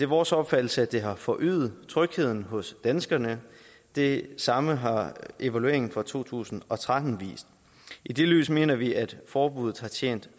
vores opfattelse at det har forøget trygheden hos danskerne det samme har evalueringen fra to tusind og tretten vist i det lys mener vi at forbuddet har tjent